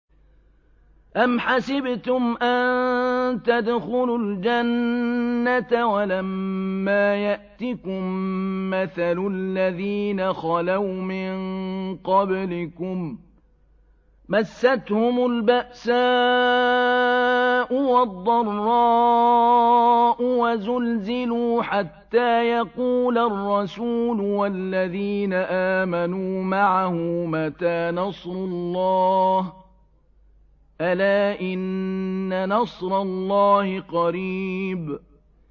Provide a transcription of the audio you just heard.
أَمْ حَسِبْتُمْ أَن تَدْخُلُوا الْجَنَّةَ وَلَمَّا يَأْتِكُم مَّثَلُ الَّذِينَ خَلَوْا مِن قَبْلِكُم ۖ مَّسَّتْهُمُ الْبَأْسَاءُ وَالضَّرَّاءُ وَزُلْزِلُوا حَتَّىٰ يَقُولَ الرَّسُولُ وَالَّذِينَ آمَنُوا مَعَهُ مَتَىٰ نَصْرُ اللَّهِ ۗ أَلَا إِنَّ نَصْرَ اللَّهِ قَرِيبٌ